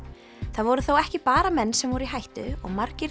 það voru þó ekki bara menn sem voru í hættu og margir